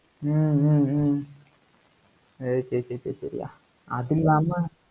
ஹம் ஹம் ஹம் அதில்லாம